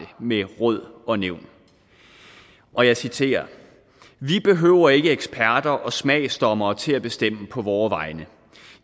med råd og nævn og jeg citerer vi behøver ikke eksperter og smagsdommere til at bestemme på vore vegne